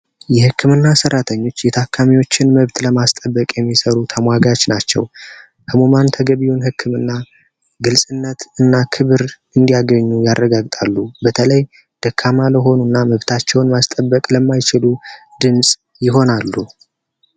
የህክምና ሠራተኞች የታካሚዎችን መብት ለማስጠበቅ የሚሰሩ ተሟጋች ተገቢውን ህክምና ግልጽነት እና ክብር እንዲያገኙ ያረጋግጣሉ በተለይ ደካማ ለሆኑና መብታቸውን ማስጠበቅ ለማይችሉ ድምጽ ይሆናሉ።